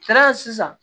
sisan